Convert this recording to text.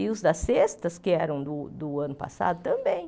E os das sextas, que eram do do ano passado, também.